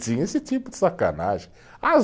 Tinha esse tipo de sacanagem. As